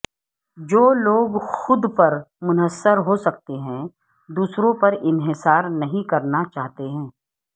جو لوگ خود پر منحصر ہو سکتے ہیں دوسروں پر انحصار نہیں کرنا چاہتے ہیں